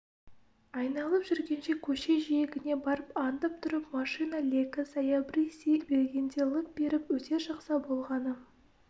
айналып жүргенше көше жиегіне барып аңдып тұрып машина легі саябырси бергенде лып беріп өте шықса болғаны